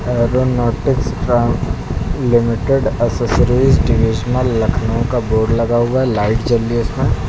Aeronautics ट्रां limited accessories divisional Lucknow का board लगा हुआ लाइट जल रही इसमें।